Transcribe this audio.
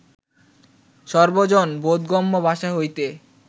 সর্বজন-বোধগম্য ভাষা হইতে